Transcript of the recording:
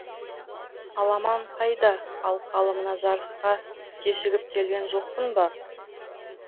аламан қайда алқалы мына жарысқа кешігіп келген жоқпын ба